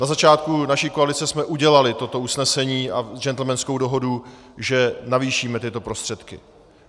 Na začátku naší koalice jsme udělali toto usnesení a gentlemanskou dohodu, že navýšíme tyto prostředky.